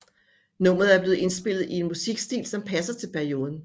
Nummeret er blevet indspillet i en musikstil som passer til perioden